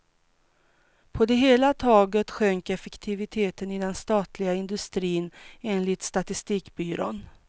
På det hela taget sjönk effektiviteten i den statliga industrin, enligt statistikbyrån.